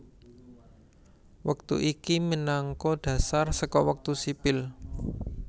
Wektu iki minangka dhasar saka wektu sipil